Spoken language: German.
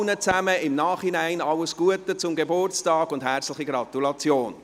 Ihnen allen im Nachhinein alles Gute zum Geburtstag und herzliche Gratulation!